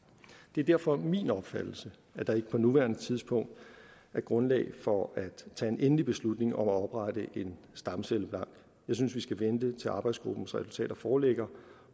det er derfor min opfattelse at der ikke på nuværende tidspunkt er grundlag for at tage en endelig beslutning om at oprette en stamcellebank jeg synes vi skal vente til arbejdsgruppens resultater foreligger